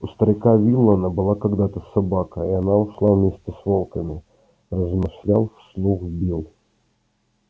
у старика виллэна была когда-то собака и она ушла вместе с волками размышлял вслух билл